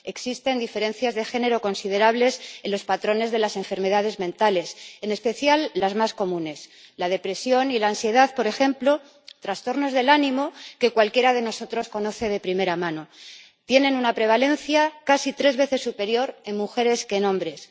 Existen diferencias de género considerables en los patrones de las enfermedades mentales, en especial las más comunes la depresión y la ansiedad, por ejemplo, trastornos del ánimo que cualquiera de nosotros conoce de primera mano, tienen una prevalencia casi tres veces superior en mujeres que en hombres.